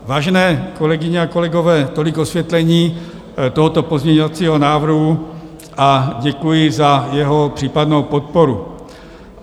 Vážené kolegyně a kolegové, tolik osvětlení tohoto pozměňovacího návrhu a děkuji za jeho případnou podporu.